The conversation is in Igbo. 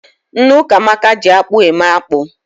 Nne Ukamaka ji akpụ eme akpụ.